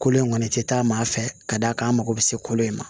Kolo in kɔni tɛ taa maa fɛ ka d'a kan an mako bɛ se kolo in ma